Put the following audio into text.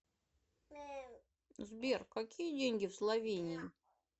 сбер какие деньги в словении